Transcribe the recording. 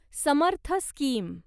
Samarth scheme